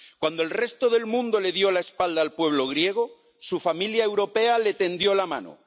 Cuando el resto del mundo le dio la espalda al pueblo griego, su familia europea le tendió la mano.